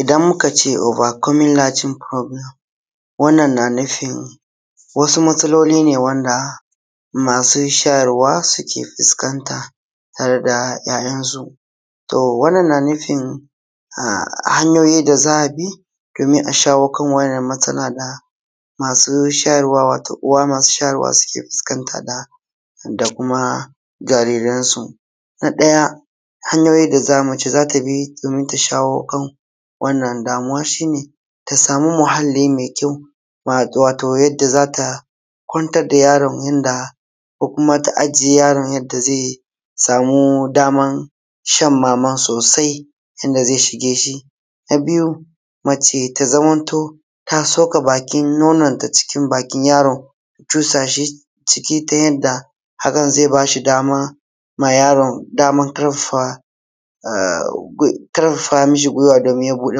Idan muka ce obar komin larjin furobulem wannan na nufin wasu matsalolin ne wanda masu shayarwa suke fuskanta tare da ‘ya’yansu, to wannan na nufin a hanyoyi da za a bi domin a shawo kan wannan matsala na masu shayarwa, wato uwa masu shayarwa sukan fuskanta na da kuma jariransu. Na ɗaya hanyoyi da mace za ta bi domin ta shawo kan wannan damuwan shi ne ta samu muhali mai kyau, wato yadda zata kwantar da yaron yanda, ko kuma ta aje yaron yadda zai samu daman shan maman sosai yadda zai shige shi. Na biyu mace ya zamanto ta soka bakin nononta cikin bakin yaron, cusashi ciki ta yanda, hakan zai bashi dama ma yaron, daman ƙarfafa, ƙarfafa mishi gwiwa domin ya buɗe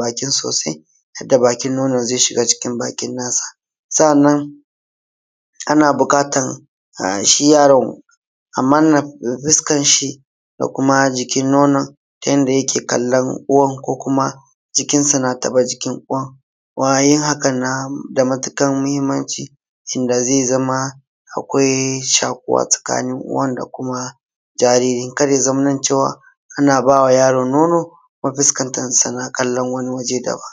baki sosai, yadda bakin nonon zai shiga cikin bakinsa. Sa’anann ana buƙatan shi yaron a manna fuskan shi da kuma jikin nonon ta yanda yake kallon uwan ko kuma jikinsa na taɓa jikin uwan, kuma yin hakan nada matuƙar muhimmanci inda zai zama akwai shaƙuwa tsakanin uwan da kuma jaririn, kar ya zamana cewa anabawa yaron nono kuma fuskanta yana kallon wani waje daban.